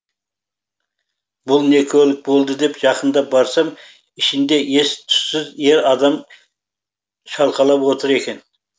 бұл не көлік болды деп жақындап барсам ішінде ес түссіз ер адам шалқалап отыр екен